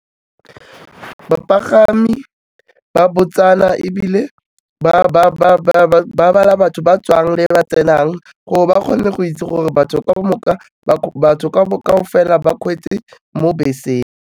Bapagami ba botsana ebile ba bala batho ba tswang le ba tsenang gore ba kgone go itse gore batho ba batho kaofela ba mo beseng.